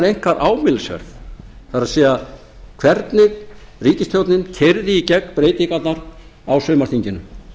einkar ámælisverð það er hvernig ríkisstjórnin keyrði í gegn breytingarnar á sumarþinginu